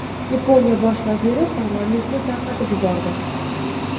Yaponiya bosh vaziri parlamentni tarqatib yubordi.